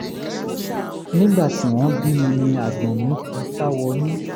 nígbà tí wọ́n bí mi ni àgbọ̀n mi ti sá wọnú